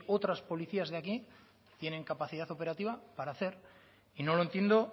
otras policías de aquí tienen capacidad operativa para hacer y no lo entiendo